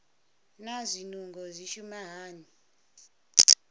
naa zwinungo zwi shuma hani